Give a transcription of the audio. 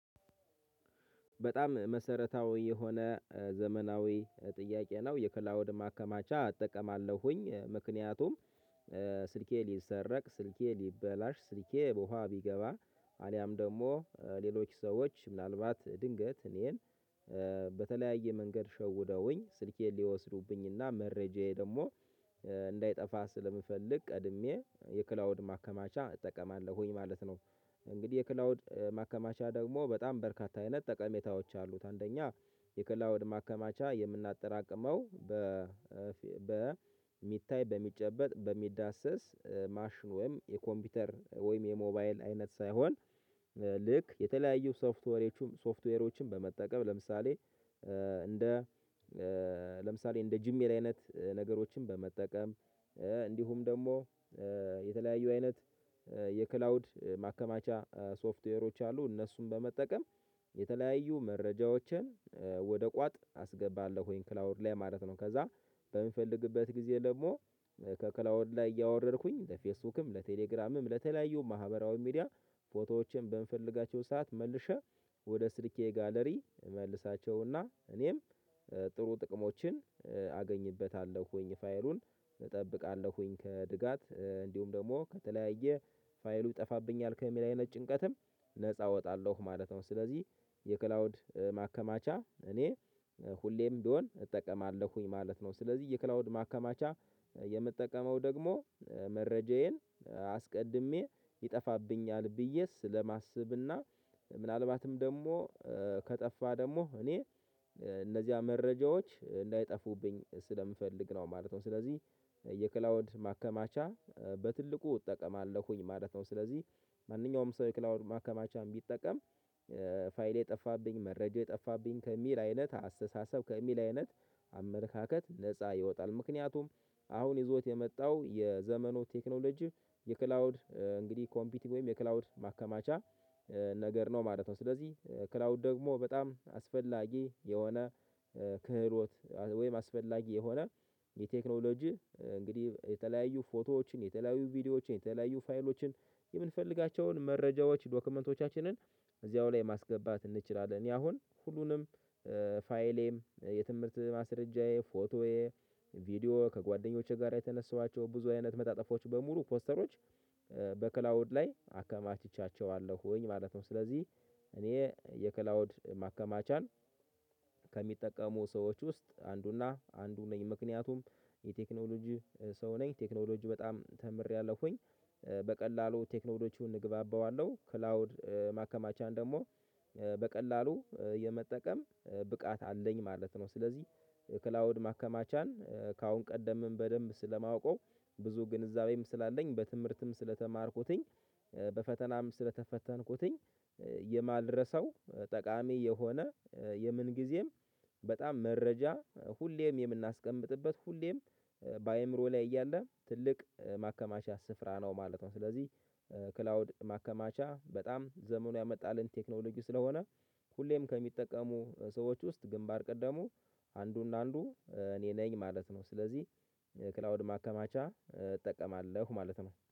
በጣም መሰረታዊ የሆነ ዘመናዊ ጥያቄ ነው የከላውድ ማከማቻ አጠቀማለሁኝ። ምክንያቱም ስልኬ ሊሰረቅ፤ ስልኬ ሊበላሽ፤ ስልኬ ውሃ ቢገባ፤ አሊያም ደግሞ ሌሎች ሰዎች ምናልባት ድንገት እኔን በተለያየ መንገድ ሸውደውኝ ስልኬን ሊወስዱብኝና መረጃዬ ደግሞ እንዳይጠፋ ስለምፈልግ፤ ቀድሜ የክላውድ ማከማቻ እጠቀማለሁኝ ማለት ነው። እንግዲህ የክላውድ ማከማቻ ደግሞ በጣም በርካታ አይነት ጠቀሜታዎች አሉት። አንደኛ የከላወድ ማከማቻ የምናጠራቅመው በ በሚታይ፤ በሚጨበጥ፤ በሚዳሰስ፤ ማሽን ወይም የኮምፒውተር ወይም የሞባይል አይነት ሳይሆን፤ ልክ የተለያዩ ሶፍትወሮችን ሶፍትዌሮችን በመጠቀም፤ ለምሳሌ እንደ ለምሳሌ እንደ ጂሜል አይነትን ነገሮችን በመጠቀም፤ እንዲሁም ደግሞ የተለያዩ አይነት የክላውድ ማከማቻ ሶፍትዌሮች አሉ፤ እነሱን በመጠቀም የተለያዩ መረጃዎችን ወደ ቋጥ አስገባለሁኝ ክላውድ ላይ ማለት ነው። ከዛ በምንፈልግበት ጊዜ ደግሞ ከክላውድ ላይ እያወረድኩኝ፤ ለፌስቡክም፤ ለቴሌግራምም ለተለያዩም ማህበራዊ ሚዲያ፤ ፎቶዎቼን በምፈልጋቸው ሰዓት መልሸህ ወደ ስልኬ ጋለሪ መልሳቸውና፤ እኔም ጥሩ ጥቅሞችን አገኝበታለሁኝ፤ ፋይሉን እጠብቃለሁኝ ከስጋት እንዲሁም ደግሞ፤ ከተለያየ ፋይሉ ይጠፋብኛል ከሚለይነት ጭንቀትም ነፃ እወጣለሁ ማለት ነው። ስለዚህ ማከማቻ እኔ ሁሌም ቢሆን እጠቀማለሁኝ ማለት ነው። ስለዚህ የክላውድ ማከማቻ የምጠቀመው ደግሞ መረጃዬን አስቀድሜ ይጠፋብኛል ብዬ ስለማስብና ምናልባትም ደግሞ፤ ከጠፋ ደግሞ እኔ እነዚያ መረጃዎች እንዳይጠፉብኝ ስለምፈልግ ነው ማለት ነው። ስለዚህ የክላውድ ማከማቻ በትልቁ እጠቀማለሁኝ ማለት ነው። ስለዚህ ማንኛውም ሰው የክላውድ ማከማቻም ቢጠቀም፤ ፋይሌ ጠፋብኝ፤ መረጃዬየጠፋብኝ፤ ከሚል አይነት አስተሳሰብ፤ ከሚል አይነት አመለካከት፤ ነፃ ይወጣል። ምክንያቱም አሁን የዞዎት የመጣው የዘመኑ ቴክኖሎጂ የክላውድ እንግዲህ ኮምፒቲቭ ወይም የክላውድ ማከማቻ ነገር ነው ማለት ነው። ስለዚህ ክላውድ ደግሞ በጣም አስፈላጊ የሆነ ወይም አስፈላጊ የሆነ የቴክኖሎጂ እንግዲህ የተለያዩ ፎቶዎችን፤ የተለያዩ ቪዲዮዎችን፤ የተለያዩ ፋይሎችን፤ የምንፈልጋቸውን መረጃዎች፤ ዶክመንቶቻችንን፤ እዚያው ላይ ማስገባት እንችላለን። እኔ አሁን ሁሉንም ፋይሌም፤ የትምህርት ማስረጃዬ፤ ፎቶዬ፤ ቪዲዮ፤ ከጓደኞቼ ጋር የተነሳኋቸው ብዙ አይነት መጣጥፎች በሙሉ ፖስተሮች በክላውድ ላይ አከማችቻቸዋለሁኝ ማለት ነው። ስለዚህ እኔ የከላውድ ማከማቻን ከሚጠቀሙ ሰዎች ውስጥ አንዱና አንዱ ነኝ። ምክንያቱም የቴክኖሎጂ ሰው ነኝ፤ ቴክኖሎጂ በጣም ተምሬያለሁኝ፤ በቀላሉ ቴክኖሎጂውን እግባባዋለሁ። ክላውድ ማከማቻን ደግሞ በቀላሉ የመጠቀም ብቃት አለኝ ማለት ነው። ስለዚህ ክላውድ ማከማቻን ከአሁን ቀደምም በደንብ ስለማውቀው፤ ብዙ ግንዛቤም ስላለኝ፤ በትምህርትም ስለተማርኩትኝ፤ በፈተናም ስለተፈተንኩትኝ፤ የማልረሳው ጠቃሚ የሆነ የምን ጊዜም በጣም መረጃ ሁሌም የምናስቀምጥበት፤ ሁሌም በአእምሮ ላይ እያለ ትልቅ ማከማቻ ስፍራ ነው ማለት ነው። ስለዚህ ክላውድ ማከማቻ በጣም ዘመኑ ያመጣልን ቴክኖሎጂ ስለሆነ፤ ሁሌም ከሚጠቀሙ ሰዎች ውስጥ ግንባር ቀደሙ አንዱ እና አንዱ እኔ ነኝ ማለት ነው። ስለዚህ ክላውድ ማከማቻ እጠቀማለሁ ማለት ነው።